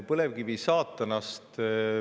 Põlevkivi on saatanast?